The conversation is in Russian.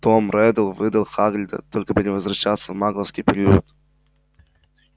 том реддл выдал хагрида только бы не возвращаться в магловский приют